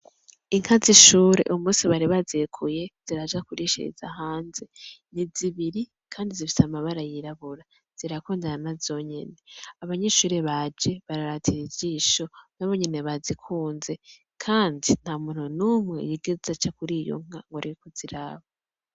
Inka z'ishure uwu musi bari bazirekuye ziraja kurishiriza hanze. Ni zibiri kandi zifise amabara yirabura zirakundana nazonyene. Abanyeshure baje bararatira ijisho nabonyene bazikunze. Kandi, ntamuntu numwe yigeze aca kurizo nka ngwareke kuziraba.